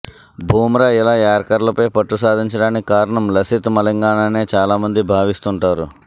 బుమ్రా ఇలా యార్కర్లపై పట్టు సాధించడానికి కారణం లసిత్ మలింగానేనని చాలా మంది భావిస్తుంటారు